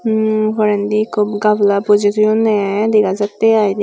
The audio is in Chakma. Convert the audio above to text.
emm porendi ekko gabala bojey toyonde aai degajatte aai de.